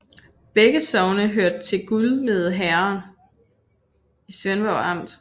Begge sogne hørte til Gudme Herred i Svendborg Amt